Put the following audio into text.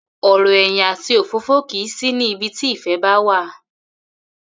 Ò̩rò̩ è̩yìn àti òfófó kì í sí ní ibi tí ìfè̩ bá wá